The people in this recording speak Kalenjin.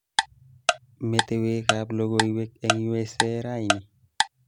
Metewekab logoiwek eng U.S.A raini